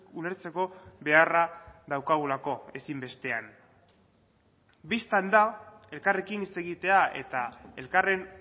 ulertzeko beharra daukagulako ezinbestean bistan da elkarrekin hitz egitea eta elkarren